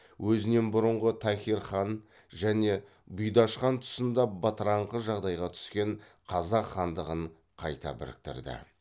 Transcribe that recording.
өзінен бұрынғы тахир хан және бұйдаш хан тұсында бытыраңқы жағдайға түскен қазақ хандығын қайта біріктірді